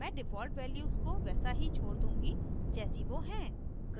मैं default values को वैसा ही छोड़ दूँगी जैसी वो हैं